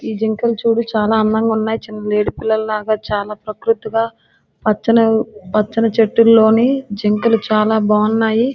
జింకలు చూడు చాలా అందంగా ఉన్నాయి. చిన్న లేడి పిల్లల్లాగా ప్రకృతిగా పచ్చని పచ్చని చెట్టుల్లోని జింకలు చాలా బాగున్నాయి.